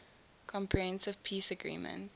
comprehensive peace agreement